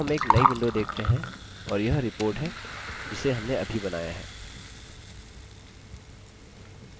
अब हम एक now window देखते हैं और यह report है जिसे हमने अभी बनाया है